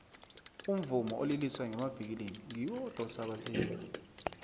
umvumo oliliswa ngenavikilini ngiwo odosa abathengi